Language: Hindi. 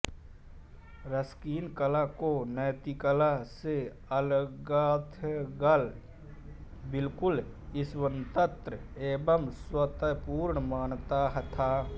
रस्किन कला को नैतिकता से अलगथलग बिल्कुल स्वंतत्र एवं स्वतपूर्ण मानता था